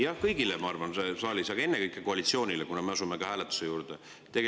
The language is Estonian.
Jah, kõigile, ma arvan, siin saalis, aga ennekõike koalitsioonile, kuna me asume hääletuse juurde.